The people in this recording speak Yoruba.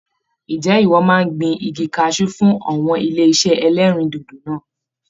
Ǹjẹ́ ìwọ máa gbìn igi cashew fun awọn ilé-isé ẹlẹ́rìndòdò náà?